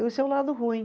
Esse é o lado ruim.